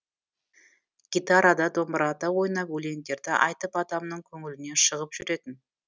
гитарада домбырада ойнап өлеңдерді айтып адамның көңілінен шығып жүретін